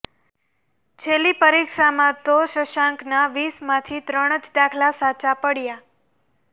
છેલ્લી પરીક્ષામાં તો શશાંકના વીસમાંથી ત્રણ જ દાખલા સાચાં પડ્યા